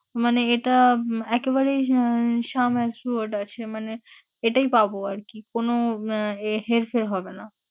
মানে এটা একেবারেই আহ আছে মানে এটাই পাবো আরকি? কোন আহ হেরফের হবে না।